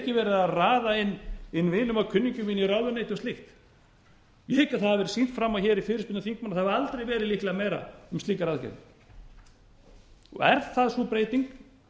verið að raða inn vinum og kunningjum inn í ráðuneyti og slíkt ég hygg að það hafi verið sýnt fram á hér í fyrirspurnatíma þingmanna að það hafi aldrei verið líklega meira um slíkar aðgerðir er það sú breyting